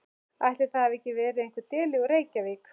Ætli það hafi ekki verið einhver deli úr Reykjavík.